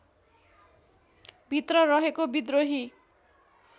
भित्र रहेको विद्रोही